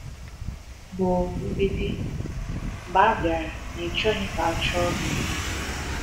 Bụrụ “mgbidi” mgbe a bịara n’ịchọghị ka a chụọ gị.